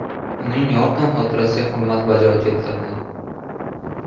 Uning yorqin xotirasiga hurmat bajo keltirdi.